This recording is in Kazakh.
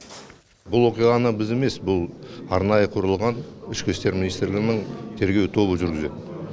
бұл оқиғаны біз емес бұл арнайы құрылған ішкі істер министрлігінің тергеу тобы жүргізеді